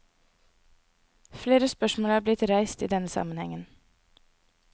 Flere spørsmål er blitt reist i denne sammenhengen.